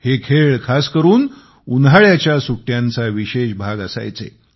हे खेळ खास करून उन्हाळ्याच्या सुट्ट्यांचा विशेष भाग असायचे